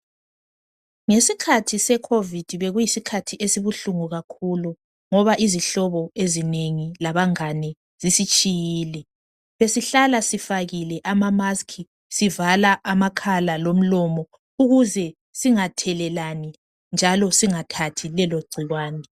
ngesikhathi se covid bekuyisikhathi esibuhlungu kakhulu ngoba izihlbo ezinengi labangani zisitshyile besihlala sifakile ama mask sivala amakhala lomlomo ukuze singathelelani njalo singathelelani lelo gcikwane